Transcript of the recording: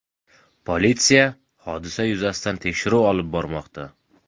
Politsiya hodisa yuzasidan tekshiruv olib bormoqda.